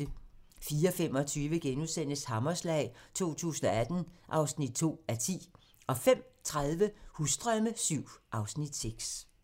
04:25: Hammerslag 2018 (2:10)* 05:30: Husdrømme VII (Afs. 6)